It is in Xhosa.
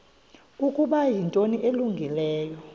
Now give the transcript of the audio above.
ukuba yinto elungileyo